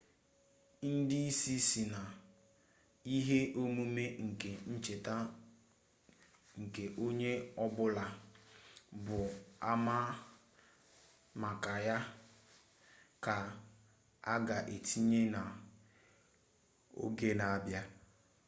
ndi isi si na ihe omume nke ncheta nke onye-obula ga ama maka ya ka aga etinye na oge na abia